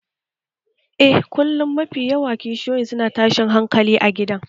Eh, kullum kishiyoyin su na tashin hankali a gidan